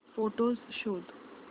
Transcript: photos शोध